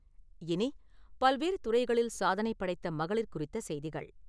இனி , பல்வேறு துறைகளில் சாதனைபடைத்த மகளிர் குறித்தசெய்திகள்.